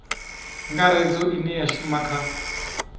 ngaredza ine ya shuma kha